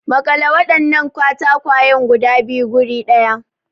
Makale wadannan katakwayen guda biyu guri daya.